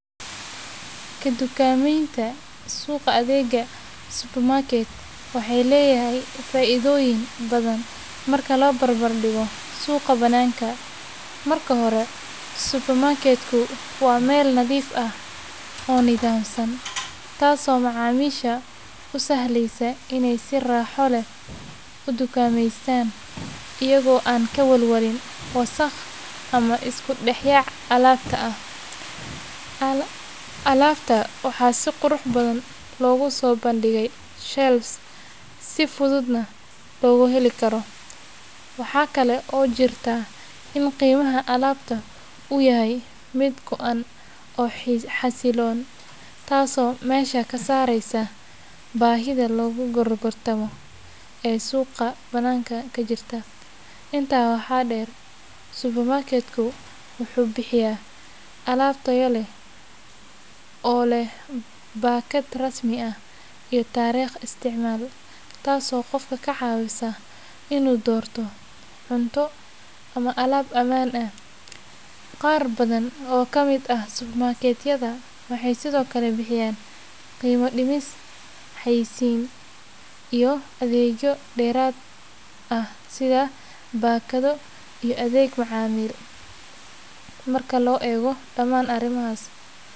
Ka dukaamaynta suuqa adeegga supermarket waxay leedahay faa’iidooyin badan marka loo barbardhigo suuqa banaanka. Marka hore, supermarket-ku waa meel nadiif ah oo nidaamsan, taasoo macaamiisha u sahlaysa inay si raaxo leh u dukaameystaan iyagoo aan ka walwalin wasakh ama isku dhex yaac alaabta ah. Alaabta waxaa si qurux badan loogu soo bandhigay shelves si fududna loogu heli karo. Waxaa kale oo jirta in qiimaha alaabta uu yahay mid go’an oo xasiloon, taasoo meesha ka saaraysa baahida lagu gorgortamo ee suuqa banaanka ka jirta. Intaa waxaa dheer, supermarket-ku wuxuu bixiyaa alaab tayo leh oo leh baakad rasmi ah iyo taariikh isticmaal, taasoo qofka ka caawisa inuu doorto cunto ama alaab ammaan ah. Qaar badan oo ka mid ah supermarket-yada waxay sidoo kale bixiyaan qiimo dhimis, xayeysiin, iyo adeegyo dheeraad ah sida baakado iyo adeeg macaamiil. Marka la eego dhamaan arrimahaas.